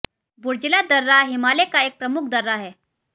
बुर्जिला दर्रा हिमालय का एक प्रमुख दर्रा हैं